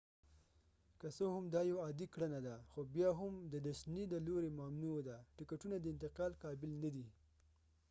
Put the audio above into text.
که څه هم دا یو عادي کړنه ده ، خو بیا هم د disney د لورې ممنوع ده : ټکټونه د انتقال قابل ندي